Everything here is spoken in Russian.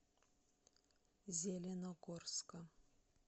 зеленогорска